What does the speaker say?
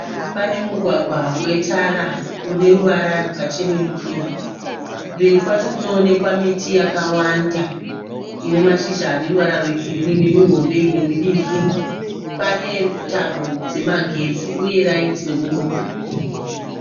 Pane mugwagwa wetara uneruvara rwakachenerukira. Mberi kwacho kunoonekwa miti yakawanda inemashizha aneruvara rwegirinhi. Imwe yacho midiki. Pane tambo dzemagetsi uye rayiti remugwagwa.